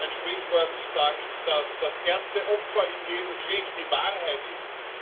Ein Sprichwort sagt, dass das erste Opfer in jedem Krieg die Wahrheit ist.